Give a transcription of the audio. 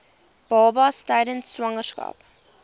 babas tydens swangerskap